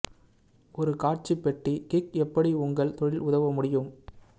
ஒரு காட்சி பெட்டி கிக் எப்படி உங்கள் தொழில் உதவ முடியும்